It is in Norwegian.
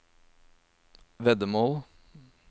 veddemål